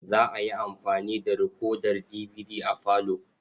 Za a yi amfani da rikodar dibidi a falo.